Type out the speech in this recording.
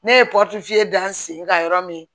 Ne ye dan n sen ka yɔrɔ min